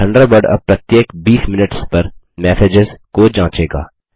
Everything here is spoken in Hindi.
थंडरबर्ड अब प्रत्येक 20 मिनट्स पर मैसेजेस को जाँचेगा